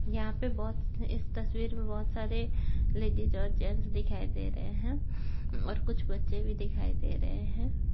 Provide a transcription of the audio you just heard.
यहाँ पे बहुत इस तस्वीर में बहुत सारे लेडीज और जेंट्स दिखाई दे रहे हैं और कुछ बच्चे भी दिखाई दे रहे हैं।